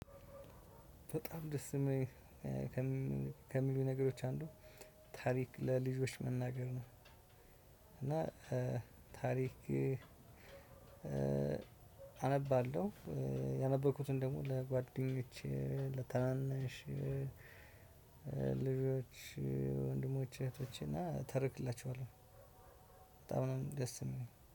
በጣም ደስ የሚል ከሚሉኝ ነገሮች አንዱ ታሪክ ለልጆች መናገር ነው። እና ታሪክ አነባለሁ ያነበብኩትን ደግሞ ለጓደኞቼ ለታናናነሽ ልጆች ወንድሞች እህቶች እና እተርክላቸዋለሁ። በጣም ነው ደስ የሚለኝ